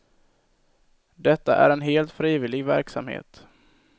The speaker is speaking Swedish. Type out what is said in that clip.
Detta är en helt frivillig verksamhet.